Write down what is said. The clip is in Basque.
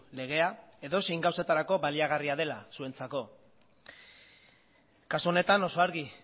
legea edozein gauzatarako baliagarria dela zuentzako kasu honetan oso argi